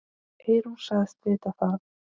Eyrún sagðist vita það.